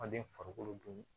An den farikolo dun